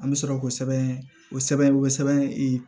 An bɛ sɔrɔ k'o sɛbɛn o sɛbɛn o sɛbɛn e